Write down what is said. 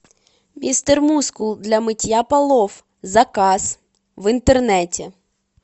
мистер мускул для мытья полов заказ в интернете